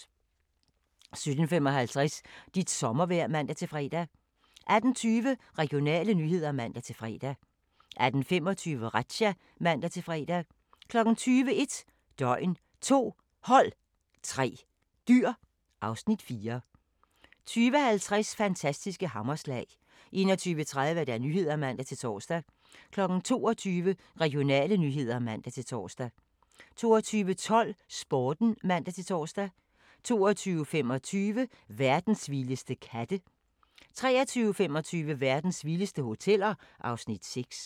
17:55: Dit sommervejr (man-fre) 18:20: Regionale nyheder (man-fre) 18:25: Razzia (man-fre) 20:00: 1 døgn, 2 hold, 3 dyr (Afs. 4) 20:50: Fantastiske hammerslag 21:30: Nyhederne (man-tor) 22:00: Regionale nyheder (man-tor) 22:12: Sporten (man-tor) 22:25: Verdens vildeste katte 23:25: Verdens vildeste hoteller (Afs. 6)